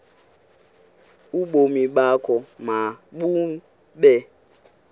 ubomi bakho mabube